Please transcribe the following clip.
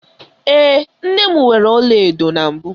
Ee, nne m nwere ọlaedo na mbụ.